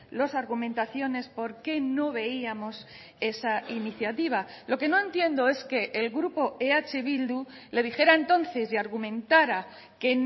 las argumentaciones por qué no veíamos esa iniciativa lo que no entiendo es que el grupo eh bildu le dijera entonces y argumentara que